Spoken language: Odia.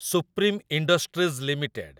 supreme Industries limited